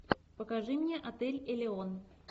покажи мне отель элеон